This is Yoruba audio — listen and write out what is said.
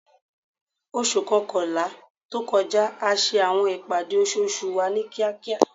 Oṣu kọkanla to kọja a ṣe awọn ipade oṣooṣu wa ni kiakia